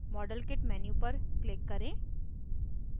modelkit menu पर click करें